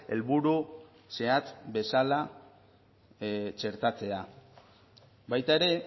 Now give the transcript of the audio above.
helburu zehatz bezala txertatzea baita ere